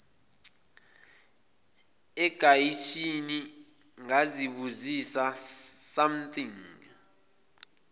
egeyithini ngazibuzisa something